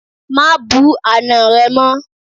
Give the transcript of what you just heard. Má bú àná rẹ mọ́!